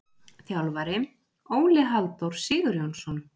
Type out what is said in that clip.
Þjálfari: Óli Halldór Sigurjónsson.